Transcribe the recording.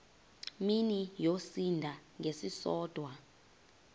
mini yosinda ngesisodwa